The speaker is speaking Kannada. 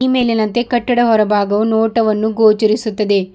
ಈ ಮೇಲಿನಂತೆ ಕಟ್ಟಡ ಹೊರಭಾಗವು ನೋಟವನ್ನು ಗೊಛರಿಸುತ್ತದೆ.